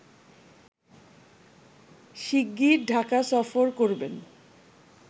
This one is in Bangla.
শিগগির ঢাকা সফর করবেন